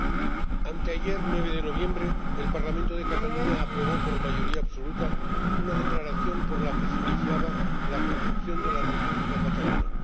Señora Presidenta, anteayer, 9 de noviembre, el Parlamento de Cataluña aprobó por mayoría absoluta una declaración por la que se iniciaba la construcción de la República catalana.